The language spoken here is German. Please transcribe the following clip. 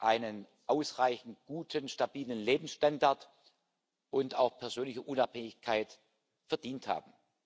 einen ausreichend guten, stabilen Lebensstandard und auch persönliche Unabhängigkeit verdient haben.